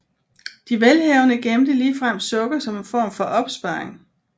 De velhavende gemte ligefrem sukker som en form for opsparing